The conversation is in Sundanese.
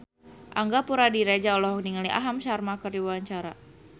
Angga Puradiredja olohok ningali Aham Sharma keur diwawancara